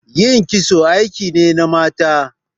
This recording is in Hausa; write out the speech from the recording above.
Ƴin kitso aiki ne na mata.